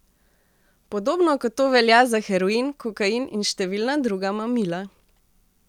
Podobno kot to velja za heroin, kokain in številna druga mamila.